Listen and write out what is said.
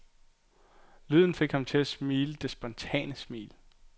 Lyden fik ham til at smile det spontane smil.